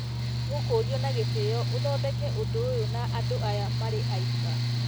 ũkũũrio na gĩtĩo ũthondeke ũndũ ũyũ na andũ aya marĩ aika